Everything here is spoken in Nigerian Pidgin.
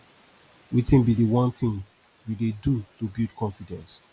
wetin be di one thing you dey do to build confidence